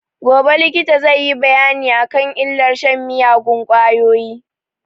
Gobe likita zai yi bayani a kan illar shan miyagun ƙwayoyi